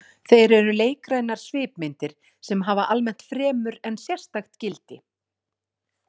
Þeir eru leikrænar svipmyndir sem hafa almennt fremur en sérstakt gildi.